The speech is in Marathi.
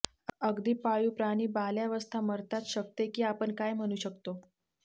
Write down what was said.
अगदी पाळीव प्राणी बाल्यावस्था मरतात शकते की आपण काय म्हणू शकतो